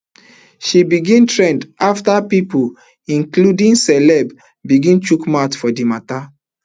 she begin trend afta pipo including celebs begin chook mouth for di mata